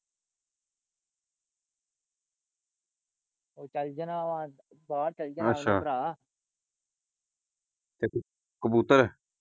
ਉਹ ਚਲ ਜਾਣਾ ਵਾ ਬਹਾਰ ਚਲ ਅੱਛਾ ਜਾਣਾ ਵਾ ਭਰਾ ਕਬੂਤਰ।